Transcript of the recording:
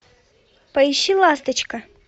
поищи ласточка